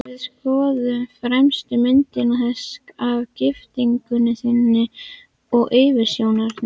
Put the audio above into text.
Við skoðuðum fremstu myndina, þessa af giftingunni þinni og yfirsjónarinnar.